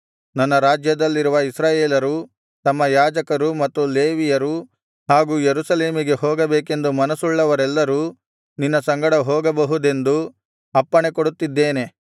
ನನ್ನ ರಾಜ್ಯದಲ್ಲಿರುವ ಇಸ್ರಾಯೇಲರು ತಮ್ಮ ಯಾಜಕರು ಮತ್ತು ಲೇವಿಯರು ಹಾಗು ಯೆರೂಸಲೇಮಿಗೆ ಹೋಗಬೇಕೆಂದು ಮನಸ್ಸುಳ್ಳವರೆಲ್ಲರೂ ನಿನ್ನ ಸಂಗಡ ಹೋಗಬಹುದೆಂದು ಅಪ್ಪಣೆ ಕೊಡುತ್ತಿದ್ದೇನೆ